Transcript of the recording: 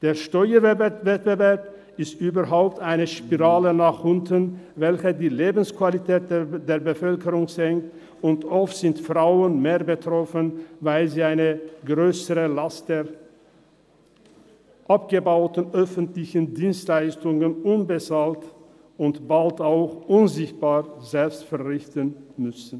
Der Steuerwettbewerb ist überhaupt eine Spirale nach unten, welche die Lebensqualität der Bevölkerung senkt, und oft sind Frauen mehr betroffen, weil sie eine grössere Last der abgebauten öffentlichen Dienstleistungen unbezahlt und bald auch unsichtbar selbst verrichten müssen.